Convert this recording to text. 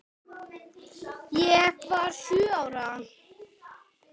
Ég var sjö ára.